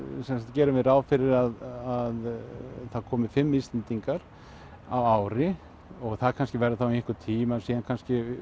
gerum við ráð fyrir að það komi fimm Íslendingar á ári og það kannski verður þá í einhvern tíma og kannski